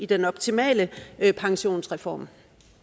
den optimale pensionsreform